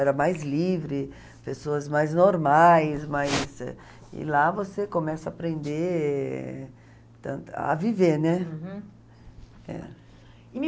Era mais livre, pessoas mais normais, mais... E lá você começa a aprender tant a viver, né? Uhum. É. E